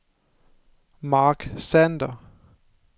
Marc Sander